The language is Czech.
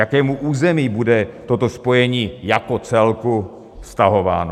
Jakému území bude toto spojení "jako celku" vztahováno?